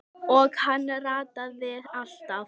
Og hann rataði alltaf.